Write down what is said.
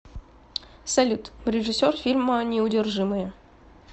салют режиссер фильма неудержимые